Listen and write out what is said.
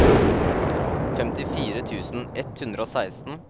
femtifire tusen ett hundre og seksten